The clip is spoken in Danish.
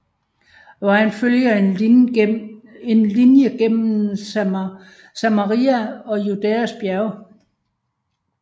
Vejen følger en linje gennem Samaria og Judæas bjerge